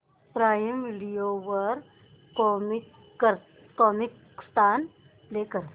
prime Video वर Comicstaan play कर